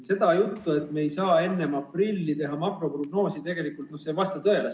See jutt, et me ei saa enne aprilli teha makroprognoosi, tegelikult ei vasta tõele.